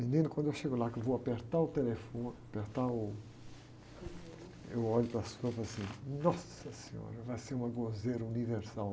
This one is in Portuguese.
Menino, quando eu chego lá, que eu vou apertar o telefone, apertar o... Eu olho para cima e falo assim, nossa senhora, vai ser uma gozeira universal.